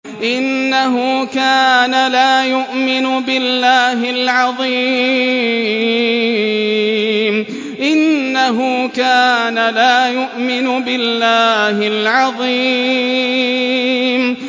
إِنَّهُ كَانَ لَا يُؤْمِنُ بِاللَّهِ الْعَظِيمِ